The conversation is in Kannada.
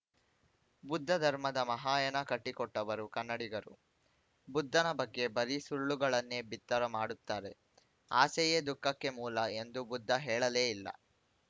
ಬುದ್ದ ಧರ್ಮದ ಮಹಾಯಾನ ಕಟ್ಟಿಕೊಟ್ಟವರು ಕನ್ನಡಿಗರು ಬುದ್ದನ ಬಗ್ಗೆ ಬರೀ ಸುಳ್ಳುಗಳನ್ನೇ ಬಿತ್ತರ ಮಾಡುತ್ತಾರೆ ಆಸೆಯೇ ದುಃಖಕ್ಕೆ ಮೂಲ ಎಂದು ಬುದ್ದ ಹೇಳಲೇ ಇಲ್ಲ